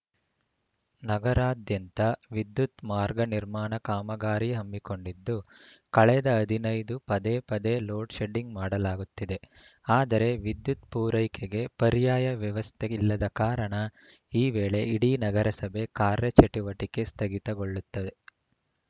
ನಗರಾದ್ಯಂತ ವಿದ್ಯುತ್‌ ಮಾರ್ಗ ನಿರ್ಮಾಣ ಕಾಮಗಾರಿ ಹಮ್ಮಿಕೊಂಡಿದ್ದು ಕಳೆದ ಹದಿನೈದು ಪದೆಪದೇ ಲೋಡ್‌ ಶೆಡ್ಡಿಂಗ್‌ ಮಾಡಲಾಗುತ್ತಿದೆ ಆದರೆ ವಿದ್ಯುತ್‌ ಪೂರೈಕೆಗೆ ಪರ್ಯಾಯ ವ್ಯವಸ್ಥೆ ಇಲ್ಲದ ಕಾರಣ ಈ ವೇಳೆ ಇಡೀ ನಗರಸಭೆ ಕಾರ್ಯ ಚಟುವಟಿಕೆ ಸ್ಥಗಿತಗೊಳ್ಳುತ್ತದೆ